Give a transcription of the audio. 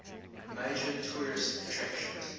major tourist attraction